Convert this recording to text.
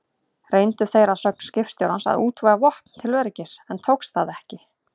Reyndu þeir að sögn skipstjórans að útvega vopn til öryggis, en tókst það ekki.